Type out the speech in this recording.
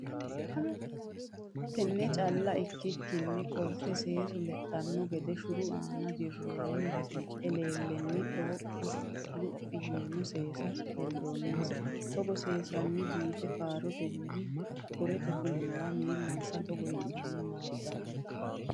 Tenne calla ikkikkinni qolote seesu lexxanno gede shuru aana dirroonni eleellenna dhooqqa luphi yino seesa leddanonsa Togo seesenna biife faarotenna ho rete fulinowa miillansa togo yitanni naaddanno.